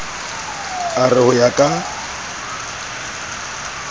a re ho ya ka